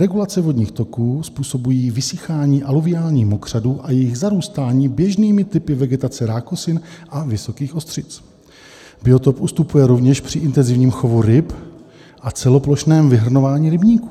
Regulace vodních toků způsobují vysychání aluviálních mokřadů a jejich zarůstání běžnými typy vegetace rákosin a vysokých ostřic. Biotop ustupuje rovněž při intenzivním chovu ryb a celoplošném vyhrnování rybníků.